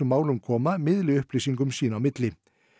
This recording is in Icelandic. málum koma miðli upplýsingum sín á milli